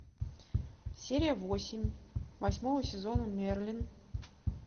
серия восемь восьмого сезона мерлин